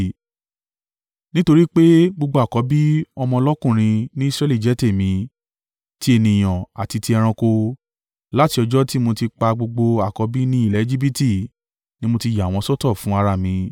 Nítorí pé gbogbo àkọ́bí ọmọ lọ́kùnrin ní Israẹli jẹ́ tèmi, ti ènìyàn àti ti ẹranko, láti ọjọ́ tí mo ti pa gbogbo àkọ́bí ní ilẹ̀ Ejibiti ni mo ti yà wọ́n sọ́tọ̀ fún ara mi.